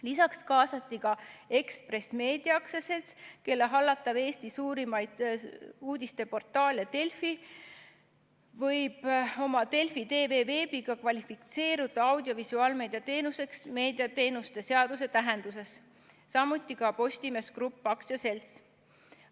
Lisaks kaasati ka Ekspress Meedia AS, kelle hallatav Eesti suurimaid uudisteportaale Delfi võib oma Delfi TV-ga kvalifitseeruda audiovisuaalmeedia teenuseks meediateenuste seaduse tähenduses, samuti Postimees Grupp AS.